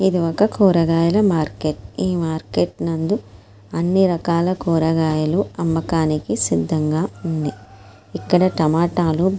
ఇది ఒక కూరగాయల మార్కెట్ . ఈ మార్కెట్ నందు అన్ని రకాల కూరగాయలు అమ్మకానికి సిద్ధంగా ఉన్నయ్. ఇక్కడ టమాటాలు--